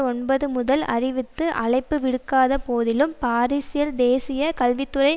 ஒன்பது முதல் அறிவித்து அழைப்பு விடுக்காத போதிலும் பாரீஸில் தேசிய கல்வி துறை